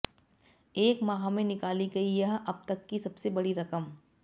एक माह में निकाली गई यह अब तक की सबसे बडी रकम